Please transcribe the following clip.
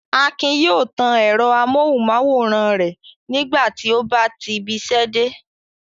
Akin yóò tan ẹ̀rọ amóhùmáwòhán rẹ̀ nígbà tí ó bá ti ibiṣẹ́ dé.